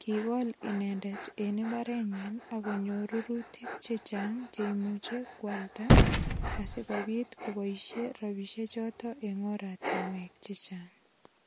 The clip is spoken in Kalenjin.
Kigol inendet en imbarenyin ak konyor rurutik che chang che imuchi kwalda asigopit koboisie rapisie choto eng oratinuek che chang.